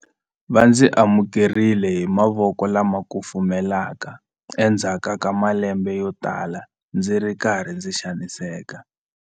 Va ndzi amukerile hi mavoko lama kufumelaka endzhaku ka malembe yotala ndzi ri karhi ndzi xaniseka.